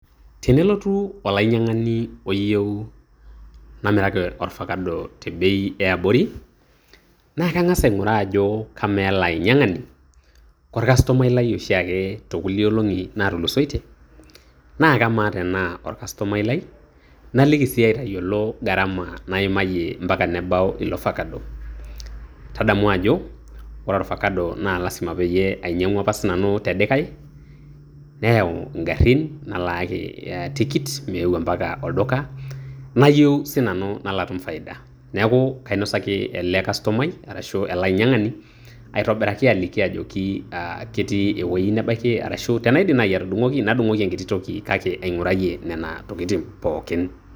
Tenelotu olainyang'ani oyieu namiraki orfakado tebei eabori, na kang'as aing'uraa ajo kamaa ele ainyang'ani ko kastomai lai oshiake tekulie olong'i natulusoitie. Na kamaa tenaa orkastomai lai, naliki si aitayiolo gharama naimayie mpaka nebau ilofakado. Tadamu ajo ore orfakado na lasima peyie ainyang'ua apa sinanu te likae, neyau igarrin, nalaaki tikit meyeu mpaka olduka. Nayieu sinanu nalo atum faida. Neeku kainosaki ele kastomai arashu ele ainyang'ani, aitobiraki aliki ajoki ketii ewueji nebaki arashu tenaidim nai atudung'oki, nadung'oki enkiti toki. Kake aing'urayie nena tokiting' pookin.